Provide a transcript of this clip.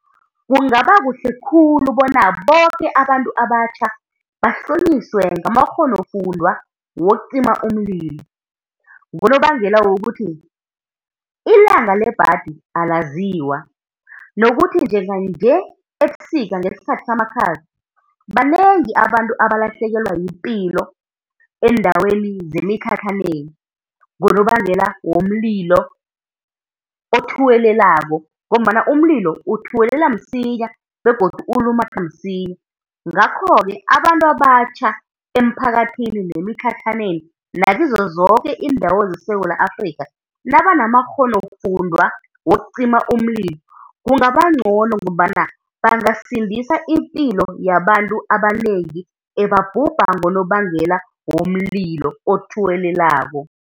Kungaba kuhle khulu bona boke abantu abatjha bahlonyiswe ngamakghonofundwa wokucima umlilo, ngonobangela wokuthi ilanga lebhadi alaziwa, nokuthi nejnga-nje ebusika ngesikhathi samakhaza banengi abantu abalahlekelwa yipilo eendaweni zemitlhatlhaneni ngonobangela womlilo othuwelelako, ngombana umlilo uthuwelela msinya begodu ulumathe msinya. Ngakho-ke abantu abatjha emiphakathini yemitlhatlhaneni nakizo zoke iindawo zeSewula Afrikha, nabanamakghonofundwa wokucima umlilo, kungaba ncono ngombana bangasindisa ipilo yabantu abanengi ebabhubha ngonobangela womlilo othuwelelako.